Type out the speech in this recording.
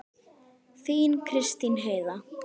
Þín Kristín Heiða.